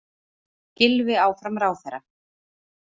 Gylfi áfram ráðherra